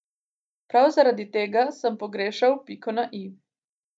Prav zaradi tega sem pogrešal piko na i.